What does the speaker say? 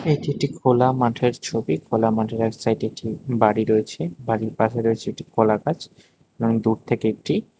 এটি একটি খোলা মাঠের ছবি খোলা মাঠের এক সাইডে একটি বাড়ি রয়েছে বাড়ির পাশে রয়েছে একটি কলা গাছ এবং দূর থেকে একটি--